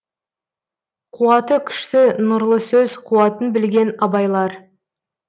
қуаты күшті нұрлы сөз қуатын білген абайлар